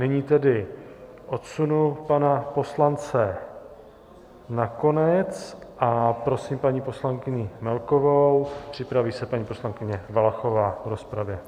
Nyní tedy odsunu pana poslance nakonec a prosím paní poslankyni Melkovou, připraví se paní poslankyně Valachová v rozpravě.